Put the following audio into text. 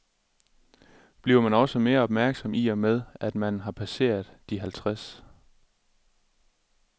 Bliver man også mere opmærksom i og med, at man har passeret de halvtreds?